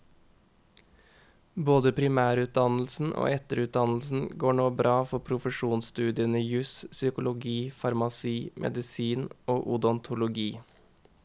Både primærutdannelsen og etterutdannelsen går nå bra for profesjonssstudiene jus, psykologi, farmasi, medisin og odontologi.